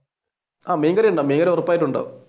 മീൻകറി ഉണ്ടാവും മീൻകറി ഉറപ്പായിട്ടും ഉണ്ടാവും.